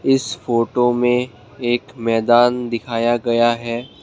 इस फोटो में एक मैदान दिखाया गया है।